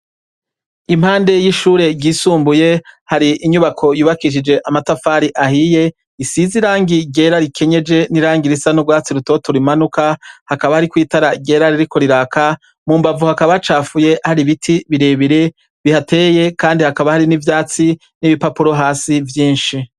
Impande y'ishure ryisumbuye hari inyubako yubakishije amatafari ahiye, isize irangi ryera rikenyeje n'irangi risa n'urwatsi rutoto rimanuka, hakaba hari n'itara ryera ririko riraka, mu mbavu hakaba hacafuye hari ibiti bire bire bihateye kandi hakaba hari n'ivyatsi n'ibipapuro hasi vyinshi.